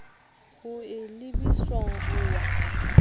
o e lebiswa ho wa